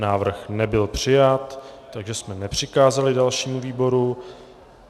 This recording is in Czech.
Návrh nebyl přijat, takže jsme nepřikázali dalšímu výboru.